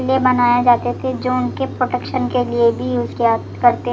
लिए बनाया जाते थे जो उनके प्रोटेक्शन के लिए भी यूज किया करते--